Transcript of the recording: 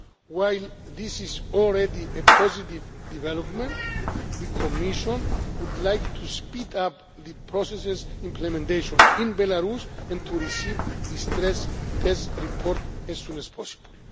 While this is already a positive development, the Commission would like to speed up the process's implementation in Belarus and to receive the stress test report as soon as possible.